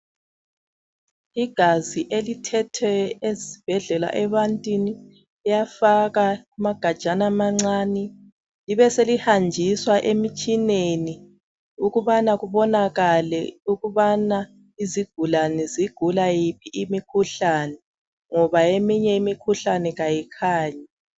Igazi elithethwe ezibhedlela ebantwini liyafakwa amagajana amancani libe selihanjiswa emitshineni ukubana kubonakale ukubana izigulane zigula yiphi imikhuhlane ngoba eminye imikhuhlane kayikhanyi.